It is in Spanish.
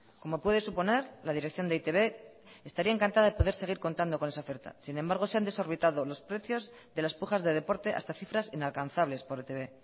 como puede suponer la dirección de e i te be estaría encantada de poder seguir contando con esa oferta sin embargo se han desorbitado los precios de las pujas de deporte hasta cifras inalcanzables por etb